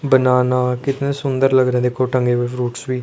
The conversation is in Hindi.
बनाना कितने सुंदर लग रहे देखो टंगे हुए फ्रूट्स भी।